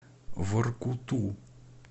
воркуту